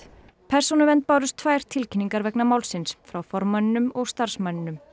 persónuvernd bárust tvær tilkynningar vegna málsins frá formanninum og starfsmanninum